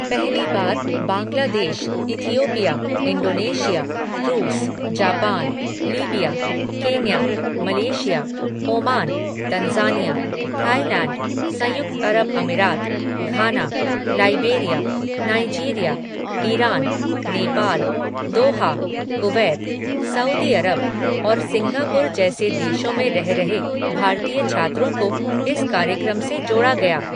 पहली बार Bangladesh, Ethiopia, Indonesia, रूस, Japan, Libya, Kenya, Malaysia, Oman, Tanzania, Thailand, संयुक्त अरब अमीरात, Ghana, Liberia, Nigeria, Iran, Nepal, Doha, Kuwait, Saudi अरब और सिंगापुर जैसे देशों में रह रहे भारतीय छात्रों को इस कार्यक्रम से जोड़ा गया।